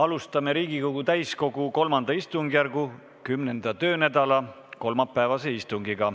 Alustame Riigikogu täiskogu III istungjärgu kümnenda töönädala kolmapäevast istungit.